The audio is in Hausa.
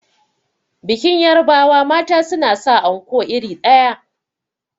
Bikin yarbawa mata suna sa kaya anko iri ɗaya.